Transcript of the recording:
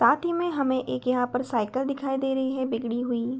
साथ ही में हमें एक यहाँ पर साइकिल दिखाई दे रही है बिगड़ी हुई।